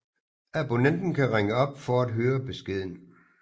Abonnenten kan ringe op for at høre beskeden